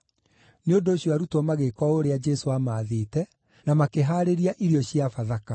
Nĩ ũndũ ũcio arutwo magĩĩka o ũrĩa Jesũ aamathĩte, na makĩhaarĩria irio cia Bathaka.